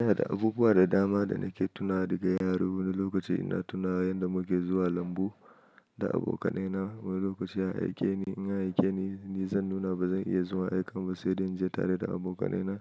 Ina da abubuwa da dama da nake tunawa daga yaro. Wani lokaci ina tuna yadda muke zuwa lambu da abokanai na. Wani lokaci a aikeni, in an aikeni, ni zan nuna bazan iya zuwa aikan ba saide inje tareda abokanai na.